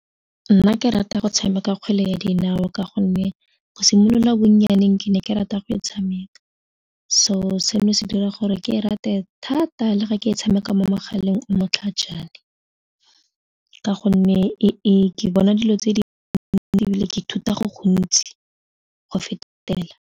Nna ke rata go tshameka kgwele ya dinao ka gonne go simolola bonnyaneng ke ne ke rata go e tshameka, so seno se dira gore ke e rate thata le ga ke e tshameka mo megaleng o motlhajana ka gonne ke bona dilo tse di ntsi ebile ke ithuta go gontsi go fetela.